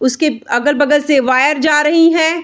उसके अगल-बगल से वायर जा रही है।